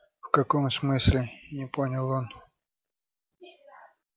в каком смысле не понял он